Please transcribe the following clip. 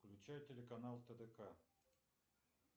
включай телеканал тдк